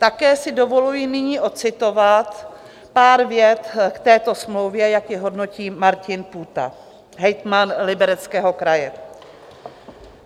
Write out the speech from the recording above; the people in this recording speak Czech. Také si dovoluji nyní odcitovat pár vět k této smlouvě, jak ji hodnotí Martin Půta, hejtman Libereckého kraje.